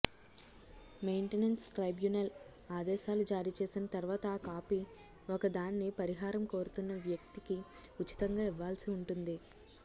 maintenance tribunal ఆదేశాలు జారీ చేసిన తర్వాత ఆ కాపీ ఒకదాన్ని పరిహారం కోరుతున్న వ్యక్తికి ఉచితంగా ఇవ్వాల్సి ఉంటుంది